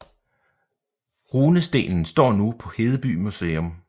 Runestenen står nu på Hedeby Museum